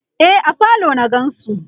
e a falo na gansu